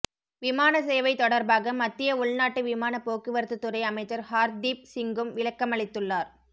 விமான சேவை தொடார்பாக மத்திய உள்நாட்டு விமானப் போக்குவரத்து துறை அமைச்சர் ஹார்தீப் சிங்கும் விளக்கமளித்துள்ளார்